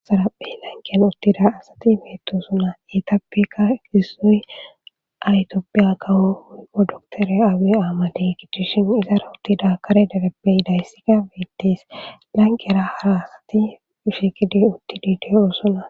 axaraapphey lankiyan uttida asati metosunna etappekka ekisoy aytioppiya gawo hu prodoktere aawi aamadi gicchishin izara uttida kare derepbey dayssika bettis lanqera hara asati pushikidi uttidi deyoossona